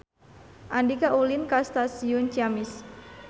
Andika ulin ka Stasiun Ciamis